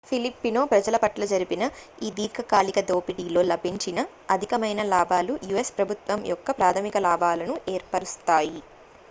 filipino ప్రజల పట్ల జరిపిన ఈ దీర్ఘకాలిక దోపిడీలో లభించిన అధికమైన లాభాలు u.s ప్రభుత్వం యొక్క ప్రాథమిక లాభాలను ఏర్పరుస్తాయి